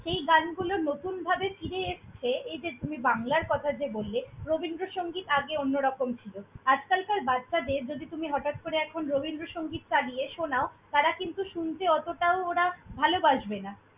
সেই গানগুলো নতুনভাবে ফিরে এসছে। এই যে তুমি বাংলার কথা যে বললে, রবীন্দ্রসংগীত আগে অন্যরকম ছিল। আজকালকার বাচ্ছাদের যদি তুমি হটাৎ করে এখন রবীন্দ্রসংগীত চালিয়ে শোনাও, তারা কিন্তু শুনতে অতটাও ওরা ভালবাসবে না।